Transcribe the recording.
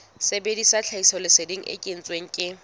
sebedisa tlhahisoleseding e kentsweng ke